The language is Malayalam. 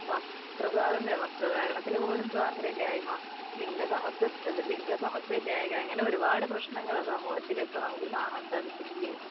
വസ്ത്രസ്വാതന്ത്ര്യം, വസ്ത്രധാരണത്തിനുപോലും സ്വാതന്ത്ര്യമില്ലായ്മ ലിംഗസമത്വം അത് ലിംഗസമത്വം ഇല്ലായ്മ അങ്ങനെ ഒരുപാട് പ്രശ്നനങ്ങൾ സമൂഹത്തിൽ ഇപ്പൊ നമുക്ക് കാണാൻ സാധിക്കുംലേ